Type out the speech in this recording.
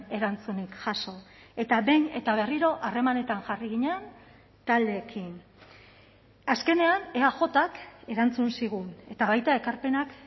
erantzunik jaso eta behin eta berriro harremanetan jarri ginen taldeekin azkenean eajk erantzun zigun eta baita ekarpenak